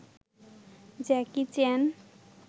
Jackie Chan